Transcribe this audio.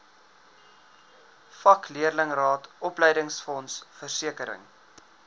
vakleerlingraad opleidingsfonds versekering